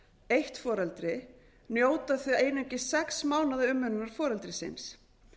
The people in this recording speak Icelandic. eitt foreldri njóta þau einungis sex mánaða umönnunar foreldris síns